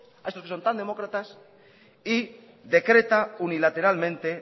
a estos que son tan demócratas y decreta unilateralmente